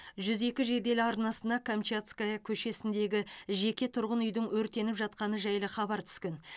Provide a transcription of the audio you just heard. жүз екі жедел арнасына камчатская көшесіндегі жеке тұрғын үйдің өртеніп жатқаны жайлы хабар түскен